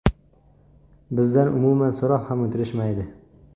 Bizdan umuman so‘rab ham o‘tirishmaydi.